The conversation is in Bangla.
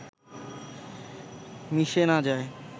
মিশে না যায়